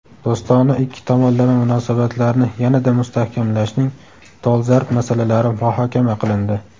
Do‘stona ikki tomonlama munosabatlarni yanada mustahkamlashning dolzarb masalalari muhokama qilindi.